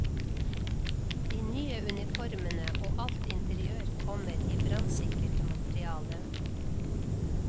De nye uniformene og alt interiør kommer i brannsikkert materiale.